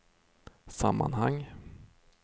sammanhang